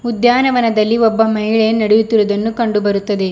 ಉದ್ಯಾನವನದಲ್ಲಿ ಒಬ್ಬ ಮಹಿಳೆ ನಡೆಯುತ್ತಿರುವುದನ್ನು ಕಂಡು ಬರುತ್ತದೆ.